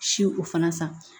Si o fana san